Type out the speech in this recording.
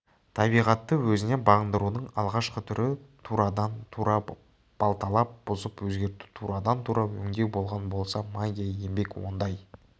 табиғатты өзіне бағындырудың алғашқы түрі турадан-тура балталап бұзып өзгерту турадан-тура өңдеу болған болса магия еңбек ондай